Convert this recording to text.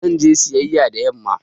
Zan je sayayƴa da yamma